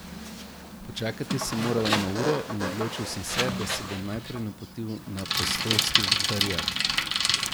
Počakati sem moral eno uro in odločil sem se, da se bom najprej napotil na apostolski vikariat.